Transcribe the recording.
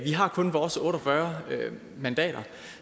har kun vores otte og fyrre mandater